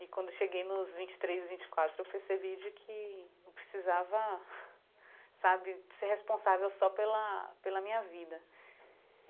E quando eu cheguei nos vinte e três, vinte e quatro, eu percebi de que não precisava, sabe, ser responsável só pela pela minha vida.